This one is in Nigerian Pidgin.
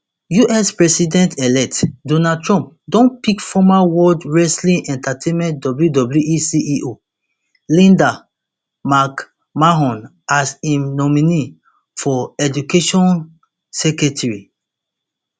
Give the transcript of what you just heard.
us presidentelect donald trump don pick former world wrestling entertainment wwe ceo linda mcmahon as im nominee for education secretary